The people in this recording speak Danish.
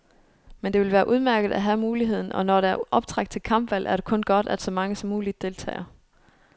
Men det vil være udmærket at have muligheden, og når der er optræk til kampvalg, er det kun godt, at så mange som muligt deltager.